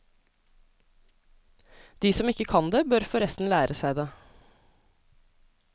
De som ikke kan det, bør forresten lære seg det.